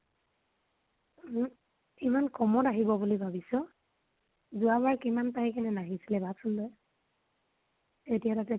উহু, ইমান কমত আহিব বুলি ভাবিছ? যোৱা বাৰ কিমান পাই কিনে নাহিছিলে ভাব চোন তই। এতিয়ালৈকে